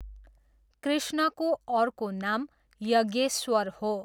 कृष्णको अर्को नाम यज्ञेश्वर हो।